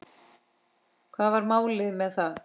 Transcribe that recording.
Hvað var málið með það?